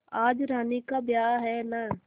आज रानी का ब्याह है न